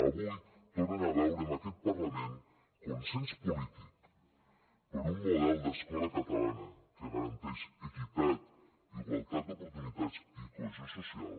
avui tornen a veure en aquest parlament consens polític per un model d’escola catalana que garanteix equitat igualtat d’oportunitats i cohesió social